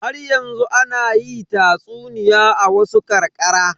Haryanzu ana yi tatsuniya a wasu ƙarƙara.